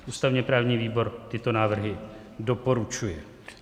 Ústavně-právní výbor tyto návrhy doporučuje.